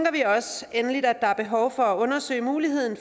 endelig at der er behov for at undersøge muligheden